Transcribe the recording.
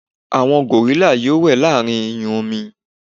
àwọn gòrílà yíò we láàrín iyun omi